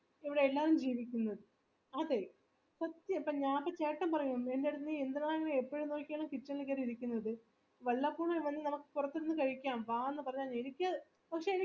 ഇല്ല എല്ലാരും ജീവിക്കുന്നു അതെ സത്യം ചേട്ടൻ പറയും എന്തിനാണ് നീ ഇപ്പഴ് നോക്കിയാലും kitchen ല് കേറി ഇരിക്കുന്നത് വല്ലപ്പോഴും വെളിൽ പുറത്തിരുന്ന് കഴിക്കാം വാ എന്ന പറഞ്ഞാൽ പക്ഷെ എനിക്ക്